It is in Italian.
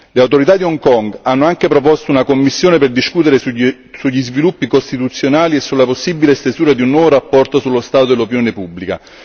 Le autorità di Hong Kong hanno anche proposto una commissione per discutere sugli sviluppi istituzionali e sulla possibile stesura di un nuovo rapporto sullo stato dell'opinione pubblica.